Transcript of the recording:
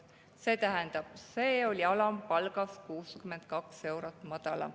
See tähendab, et see oli alampalgast 62 eurot madalam.